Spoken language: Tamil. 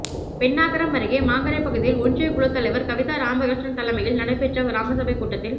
பென்னாகரம் அருகே மாங்கரை பகுதியில் ஒன்றியக் குழுத் தலைவா் கவிதா ராமகிருஷ்ணன் தலைமையில் நடைபெற்ற கிராமசபைக் கூட்டத்தில்